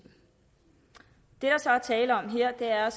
det så er tale om her er